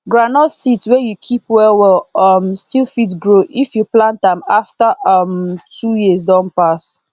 groundnut seed wey you keep well well um still fit grow if you plant am after um 2 years don pass